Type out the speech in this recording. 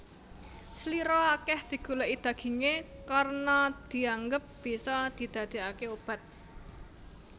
Slira akeh digoleki daginge karna dianggep bisa didadekake obat